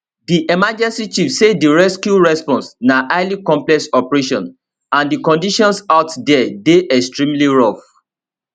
di emergency chief say di rescue response na highly complex operation and di conditions out dia dey extremely rough